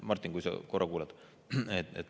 Martin, kui sa korra kuulad!